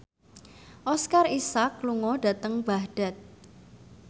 Oscar Isaac lunga dhateng Baghdad